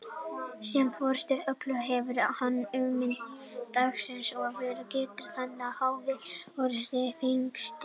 Sem forseti öldungadeildarinnar hefur hann umtalsvert dagskrárvald og getur þannig haft áhrif á starfsemi þingsins.